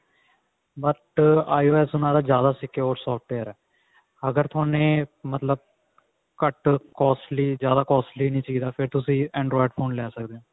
but IOS ਉਹਨਾਂ ਦਾ ਜਿਆਦਾ secure software ਹੈ ਅਗਰ ਥੋਨੇ ਮਤਲਬ ਘੱਟ costly ਜ਼ਿਆਦਾ costly ਨਹੀਂ ਚਾਹੀਦਾ ਫ਼ੇਰ ਤੁਸੀਂ android phone ਲੈ ਸਕਦੇ ਹੋ